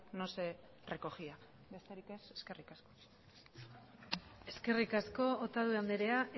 no se recogía besterik ez eskerrik asko eskerrik asko otadui andrea